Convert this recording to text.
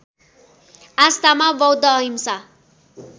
आस्थामा बौद्ध अहिंसा